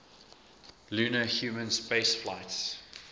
lunar human spaceflights